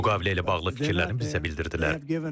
Müqavilə ilə bağlı fikirlərini bizə bildirdilər.